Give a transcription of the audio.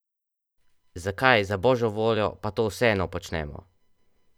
Zakaj, za božjo voljo, pa to vseeno počnemo?